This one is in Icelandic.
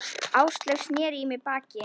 Áslaug sneri í mig baki.